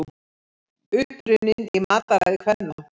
Uppruninn í mataræði kvenna